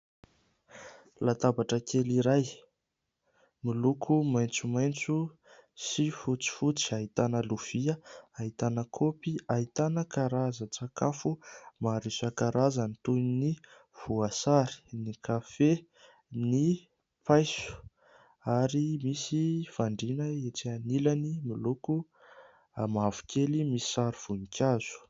Latabatra kely iray miloko maitsomaitso sy fotsifotsy, ahitana lovia, ahitana kôpy. Ahitana karazan-tsakafo maro isan-karazany toy ny voasary, ny kafe, ny paiso ary misy fandriana etsy anilany miloko mavokely misy sary voninkazo.